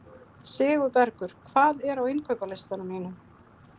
Sigurbergur, hvað er á innkaupalistanum mínum?